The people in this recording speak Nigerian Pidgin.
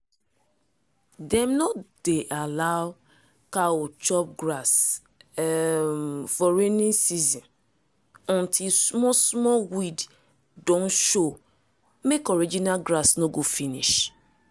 dem no dey allow cow chop grass um for rainy season until small-small weed don show mek original grass no go finish.